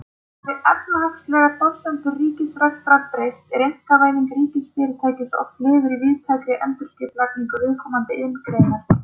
Hafi efnahagslegar forsendur ríkisrekstrar breyst er einkavæðing ríkisfyrirtækis oft liður í víðtækri endurskipulagningu viðkomandi iðngreinar.